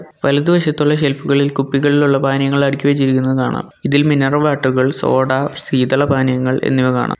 വലതുവശത്തുള്ള ഷെൽഫുകളിൽ കുപ്പികളിലുള്ള പാനീയങ്ങൾ അടുക്കി വെച്ചിരിക്കുന്നത് കാണാം ഇതിൽ മിനറൽ വാട്ടറുകൾ സോഡാ ശീതള പാനീയങ്ങൾ എന്നിവ കാണാം.